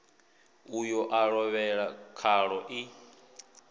uyo a lovhela khaḽo i